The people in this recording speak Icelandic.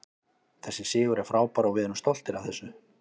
Þessi sigur er frábær og við erum stoltir af þessu.